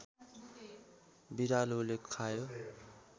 बिरालोले खायो